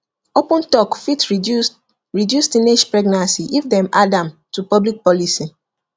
open talk fit reduce reduce teenage pregnancy if dem add am to public policy